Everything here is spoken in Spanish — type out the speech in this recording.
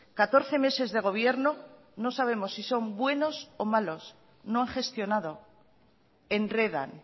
catorce meses de gobierno no sabemos si son buenos o malos no han gestionado enredan